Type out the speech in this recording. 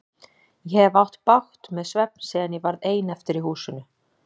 Ég hef átt bágt með svefn síðan ég varð ein eftir í húsinu.